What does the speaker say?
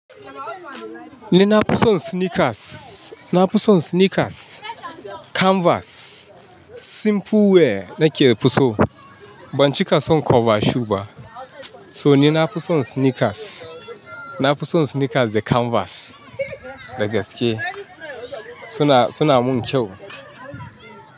Ni na fi son sneakers, na fi son sneakers, canvas, simple wear nake fitaso. Ban cika son cover shoe ba. So ni na fi son sneakers, na fi son sneakers da canvas. Dagaske suna, suna mun kyau.